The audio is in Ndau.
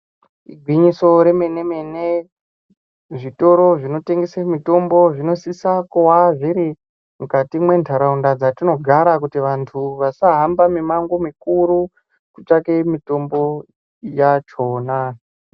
Igwinyiso remenemene, zvitoro zvinotengese mithombo zvinosisa kuva zviri mukati mwentharaunda dzatinogara kuti vanthu vasahambe mimango mikuru kutsvake mithombo yachona.